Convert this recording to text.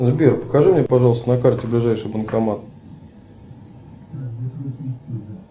сбер покажи мне пожалуйста на карте ближайший банкомат